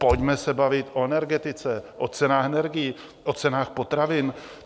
Pojďme se bavit o energetice, o cenách energií, o cenách potravin.